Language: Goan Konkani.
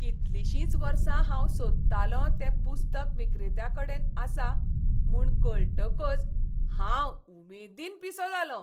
कितलीशींच वर्सां हांव सोदतालों तें पुस्तक विक्रेत्याकडेन आसा म्हूण कळटकच हांव उमेदीन पिसो जालों !